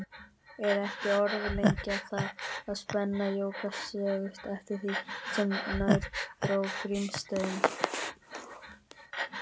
Er ekki að orðlengja það, að spennan jókst stöðugt eftir því sem nær dró Grímsstöðum.